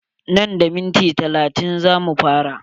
Nan da minti talatin za mu fara.